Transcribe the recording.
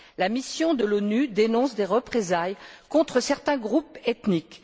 La mission de l'ONU dénonce des représailles contre certains groupes ethniques.